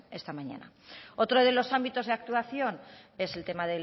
esta mañana otro de los ámbitos de actuación es el tema